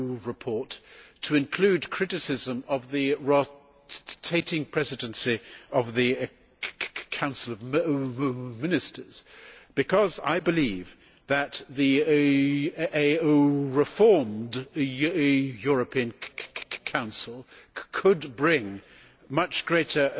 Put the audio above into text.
report, to include criticism of the rotating presidency of the Council of Ministers, because I believe that a reformed European Council could bring much greater